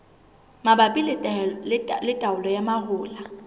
mabapi le taolo ya mahola